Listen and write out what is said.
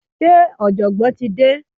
se ojogbon ti de?